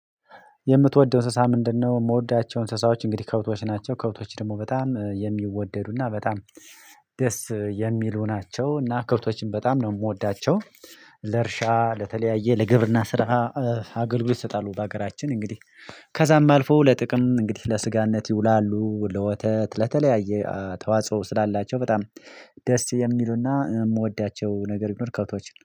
የምትወደው እንስሳ ምንድነው? የምወዳቸው እንስሳዎች እንግዲህ ከብቶች ናቸው ከብቶች ደግሞ በጣም የሚወደዱና በጣም ደስ የሚሉ ናቸው እና ክብቶችን በጣም ነው የምወዳቸው። ለእርሻ ለተለያየ ለግብርና ስራ አገልግሎት ይሰጣሉ። በሀገራችን እንግዲህ ከዛም አልፎ ለጥቅም እንግዲህ ለስጋነት ይውላሉ። ለወተት ለተለያየ ተዋጽኦ ስላላቸው በጣም ደስ የሚሉና የምወዳቸው ነገር ቢኖር ከውቶች